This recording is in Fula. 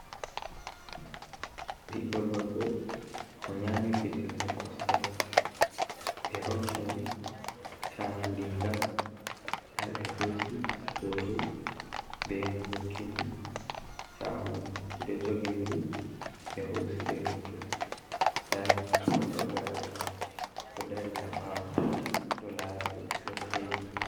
Ɓiddo gorko ɓe nyami fijirde kosɗe, ɓe hokki mo cahu riga, nda ɓe hosi hoto be mo hokki mo chahu mai ɓe ɗo jogidiri be hosi be hoto, nda sobiraɓe mako ɗo dari ha ɓawo ɗo lara ɓe ɗo seyi.